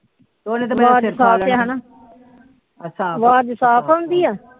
ਉਹਨੇ ਤੇ ਮੇਰਾ ਸਿਰ ਖਾ ਲੈਣਾ ਅੱਛਾ ਅਵਾਜ ਸਾਫ ਆਉਂਦੀ ਆ